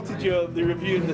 til tíu mínútur